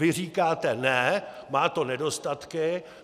Vy říkáte: Ne, má to nedostatky.